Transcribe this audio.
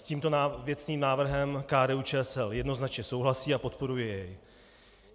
S tímto věcným návrhem KDU-ČSL jednoznačně souhlasí a podporuje jej.